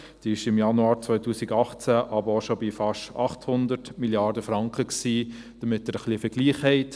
sie war im Januar 2018 aber auch schon bei fast 800 Mrd. Franken, damit Sie ein wenig einen Vergleich haben.